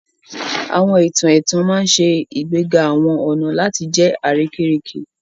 Àwọn ìtàn ẹ̀tàn ma n ṣe ìgbéga àwọn ọna láti jẹ àrékérekè